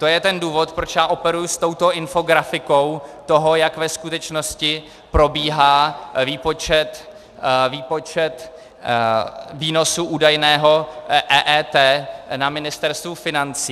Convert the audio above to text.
To je ten důvod, proč já operuji s touto infografikou toho, jak ve skutečnosti probíhá výpočet výnosu údajného EET na Ministerstvu financí.